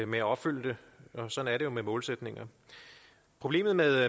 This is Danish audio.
med at opfylde dem sådan er med målsætninger problemet med